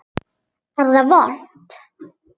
Er það vont?